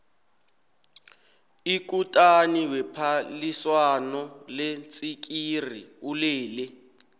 ikutani wephaliswano leentsikiri ulele